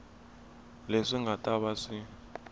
leswi nga ta va swi